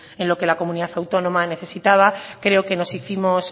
en lo que la comunidad autónoma necesitaba creo que nos hicimos